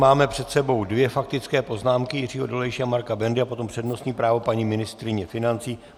Máme před sebou dvě faktické poznámky, Jiřího Dolejše a Marka Bendy, a potom přednostní právo paní ministryně financí.